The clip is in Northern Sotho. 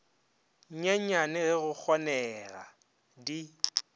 nyenyane ge go kgonega di